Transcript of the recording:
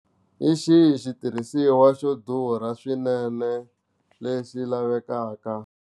Hi xihi xitirhisiwa xo durha swinene lexi lavekaka.